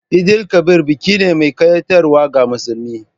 Eid_el Kabir biki ne mai kayatarwa ga musulmi.